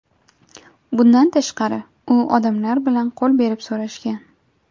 Bundan tashqari, u odamlar bilan qo‘l berib so‘rashgan.